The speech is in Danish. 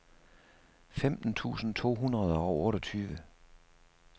femten tusind to hundrede og otteogtyve